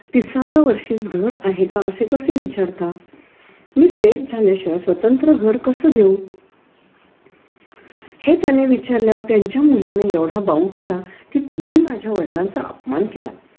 तीसव्या वर्षीच घर आहे का असे कसे विचारता मी सेठ झाल्याशिवाय स्वतंत्र घर कस घेऊ हे त्याने विचारल्यावर त्यांच्या मुलीने एवढा बाऊ केला कि तुम्ही माझ्या वडलांचा आपमान केला